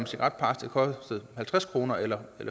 cigaretpakke kostede halvtreds kroner eller